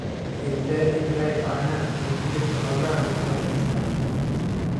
Intee in le'eg caanaha ama hilibka xoolahaagu waxay haystaan?